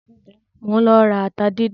Mò ń lọ ra ata díndín.